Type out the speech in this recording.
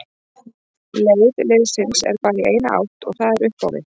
Leið liðsins er bara í eina átt og það er upp á við.